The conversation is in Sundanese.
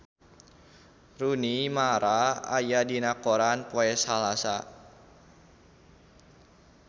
Rooney Mara aya dina koran poe Salasa